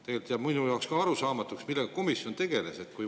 Tegelikult jääb minule ka arusaamatuks, millega tegeles komisjon.